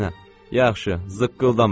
Yaxşı, zıqqıldama.